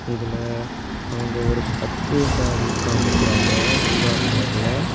இதுல அவங்க ஒரு பட்டு சாரி காமிக்கிறாங்க ஊதா கலர்ல .